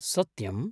सत्यम्?